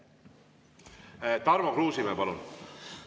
Tarmo Kruusimäe, palun!